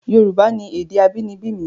Yorùbá ni èdè abínibí mi